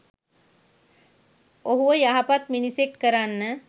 ඔහුව යහපත් මිනිසෙක් කරන්න